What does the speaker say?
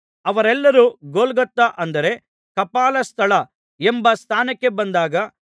ಅವರೆಲ್ಲರೂ ಗೊಲ್ಗೊಥಾ ಅಂದರೆ ಕಪಾಲಸ್ಥಳ ಎಂಬ ಸ್ಥಾನಕ್ಕೆ ಬಂದಾಗ